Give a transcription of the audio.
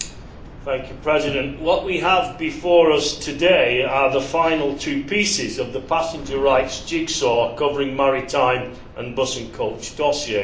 Mr President, what we have before us today are the final two pieces of the passenger rights jigsaw covering maritime and bus and coach dossiers.